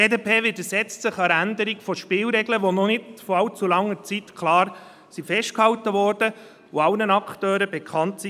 Die BDP widersetzt sich einer Änderung von Spielregeln, die vor noch nicht allzu langer Zeit klar festgehalten wurden und allen Akteuren bekannt waren.